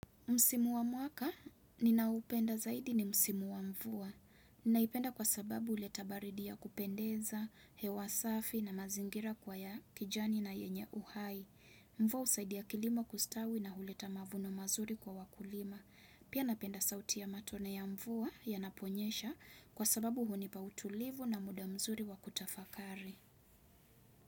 Msimu wa mwaka, ninaoupenda zaidi ni Msimu wa mvua. Ninaipenda kwa sababu huleta baridi ya kupendeza, hewa safi na mazingira kwa ya kijani na yenye uhai. Mvua husaidia kilimo kustawi na huleta mavuno mazuri kwa wakulima. Pia napenda sauti ya matone ya mvua yanaponyesha kwa sababu hunipa utulivu na muda mzuri wa kutafakari.